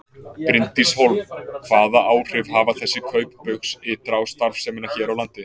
Bryndís Hólm: Hvaða áhrif hafa þessi kaup Baugs ytra á starfsemina hér á landi?